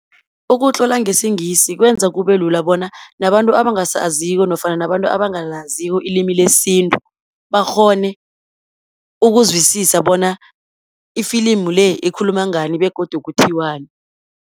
Ukutlola ngesiNgisi kwenza kubelula bona, nabantu abangasaziko nofana nabantu abangalaziko ilimi lesintu, bakghone ukuzwisisa bona ifilimu le, ikhuluma ngani, begodu kuthiwani.